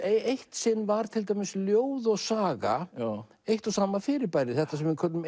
eitt sinn var til dæmis ljóð og saga eitt og sama fyrirbærið þetta sem við köllum